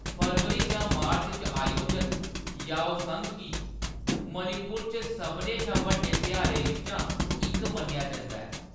February जां मार्च च आयोजत, याओसंग गी मणिपुर च सभनें शा बड्डे तेहारें बिच्चा इक मन्नेआ जंदा ऐ।